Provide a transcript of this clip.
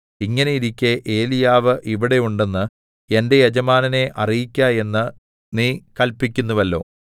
ഇങ്ങനെയിരിക്കെ ഏലീയാവ് ഇവിടെ ഉണ്ടെന്ന് എന്റെ യജമാനനെ അറിയിക്ക എന്ന് നീ കല്പിക്കുന്നുവല്ലോ